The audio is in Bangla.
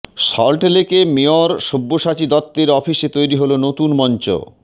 সল্টলেকে মেয়র সব্যসাচী দত্তের অফিসে তৈরি হল নতুন মঞ্চ